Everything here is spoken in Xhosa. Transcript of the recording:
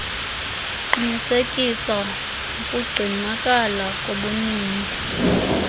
kuqinisekisa ukugcinakala kobunini